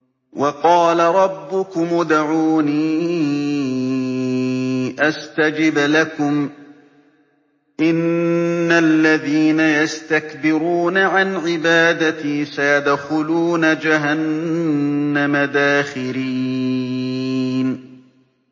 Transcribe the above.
وَقَالَ رَبُّكُمُ ادْعُونِي أَسْتَجِبْ لَكُمْ ۚ إِنَّ الَّذِينَ يَسْتَكْبِرُونَ عَنْ عِبَادَتِي سَيَدْخُلُونَ جَهَنَّمَ دَاخِرِينَ